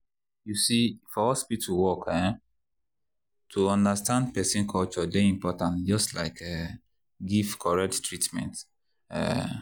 you see for hospital work um to to understand person culture dey important just like to um give correct treatment. um